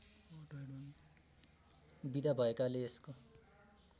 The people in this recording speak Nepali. विधा भएकाले यसको